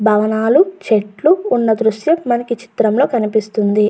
భవనాలు చెట్లు ఉన్న దృశ్యం మనకి ఈ చిత్రం లో కనిపిస్తున్నది.